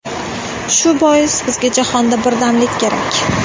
Shu bois bizga jahonda birdamlik kerak”.